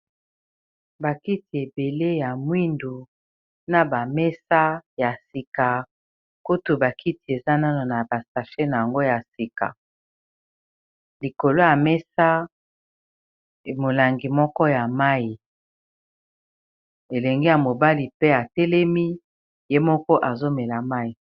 Ba kiti ebele ya mwindu na ba mesa ya sika kutu ba kiti eza nano na ba sachet nango ya sika likolo ya mesa emolangi moko ya mayi elenge ya mobali pe atelemi ye moko azomela mayi.